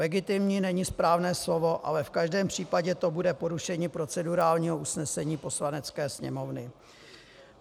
Legitimní není správné slovo, ale v každém případě to bude porušení procedurálního usnesení Poslanecké sněmovny.